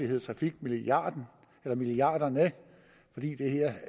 hedde trafikmilliarderne fordi det her